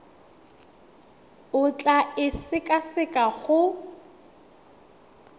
o tla e sekaseka go